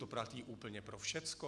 To platí úplně pro všecko.